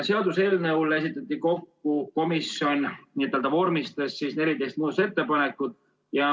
Seaduseelnõu kohta esitati ja komisjon vormistas 14 muudatusettepanekut.